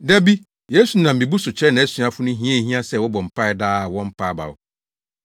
Da bi, Yesu nam mmebu so kyerɛɛ nʼasuafo no hia a ehia sɛ wɔbɔ mpae daa a wɔmpa abaw.